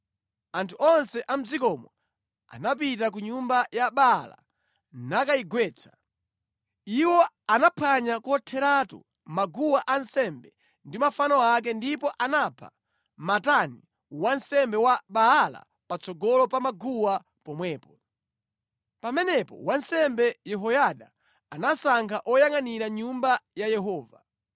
Anthu onse a mʼdzikomo anapita ku nyumba ya Baala nakayigwetsa. Iwo anaphwanya kotheratu maguwa ansembe ndi mafano ake ndipo anapha Matani wansembe wa Baala patsogolo pa maguwa pomwepo. Pamenepo wansembe Yehoyada anasankha oyangʼanira Nyumba ya Yehova.